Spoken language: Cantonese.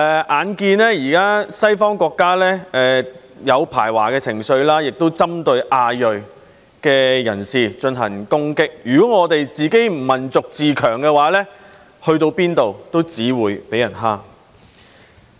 眼見現時西方國家出現排華情緒，也有針對亞裔人士進行攻擊，如果我們的民族不自強，去到哪裏也只會被人欺負。